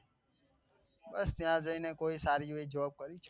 બસ ત્યાં જઈને કોઈ સારી એવી job કરીશું.